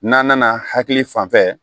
N'an nana hakili fan fɛ